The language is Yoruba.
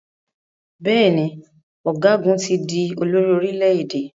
Bẹ́ẹ̀ ni, ọ̀gágun ti di olórí orílẹ̀-èdè.